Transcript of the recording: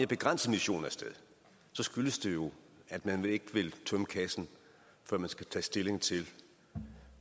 begrænset mission af sted så skyldes det jo at man ikke vil tømme kassen for man skal tage stilling til